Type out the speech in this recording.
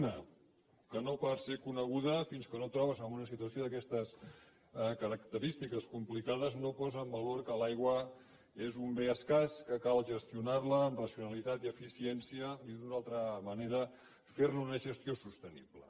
una que no per ser coneguda fins que no et trobes en una situació d’aquestes característiques complicades no posa en valor que l’aigua és un bé escàs que cal gestionar la amb racionalitat i eficiència dit d’una altra manera ferne una gestió sostenible